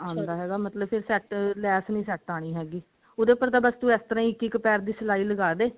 ਆਂਦਾ ਹੈਗਾ ਮਤਲਬ ਫੇਰ set ਲੈਸ ਨਹੀਂ set ਆਉਣੀ ਹੈਗੀ ਉਹਦੇ ਉੱਪਰ ਤਾਂ ਬਸ ਤੂੰ ਇਸ ਤਰ੍ਹਾਂ ਹੀ ਪੈਰ ਪੈਰ ਦੀ ਸਿਲਾਈ ਲਗਾਦੇ